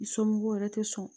Somɔgɔw yɛrɛ tɛ sɔn